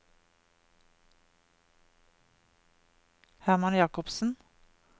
Hermann Jacobsen